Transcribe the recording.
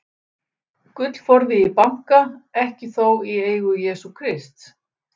Gullforði í banka, ekki þó í eigu Jesú Krists.